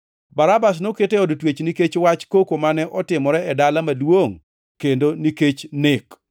(Barabas noket e od twech nikech wach koko mane otimore e dala maduongʼ, kendo nikech nek.)